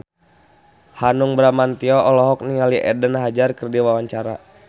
Hanung Bramantyo olohok ningali Eden Hazard keur diwawancara